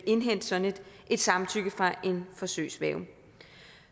indhente sådan et samtykke fra en forsøgsværge